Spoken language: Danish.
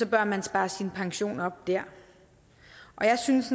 bør man spare sin pension op der jeg synes